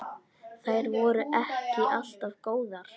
Þær voru ekki alltaf góðar.